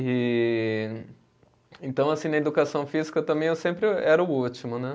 E, então, assim, na educação física também eu sempre era o último, né?